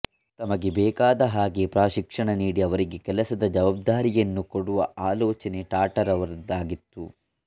ತಮಗೆ ಬೇಕಾದಹಾಗೆ ಪ್ರಶಿಕ್ಷಣ ನೀಡಿ ಅವರಿಗೆ ಕೆಲಸದ ಜವಾಬ್ದಾರಿಯನ್ನು ಕೊಡುವ ಆಲೋಚನೆ ಟಾಟಾರವರದಾಗಿತ್ತು